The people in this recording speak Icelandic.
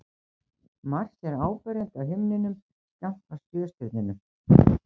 Mars er áberandi á himninum skammt frá Sjöstirninu.